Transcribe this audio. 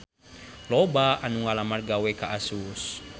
Loba anu ngalamar gawe ka Asus